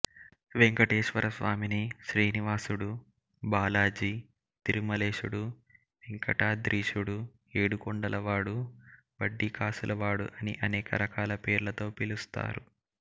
వెంకటేశ్వరస్వామిని శ్రీనివాసుడు బాలాజీ తిరుమలేశుడు వెంకటాద్రీశుడు ఏడుకొండలవాడు వడ్డీకాసులవాడు అని అనేక రకాల పేర్లతో పిలుస్తారు